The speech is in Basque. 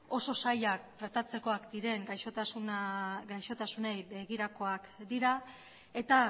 oso zailak tratatzekoak diren gaixotasunei begirakoak dira eta